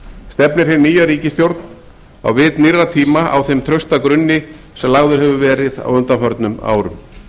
stefnir hin nýja ríkisstjórn á vit nýrra tíma á þeim trausta grunni sem lagður hefur verið á undanförnum árum